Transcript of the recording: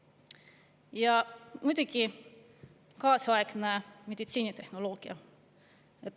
Ja muidugi kaasaegne meditsiinitehnoloogia.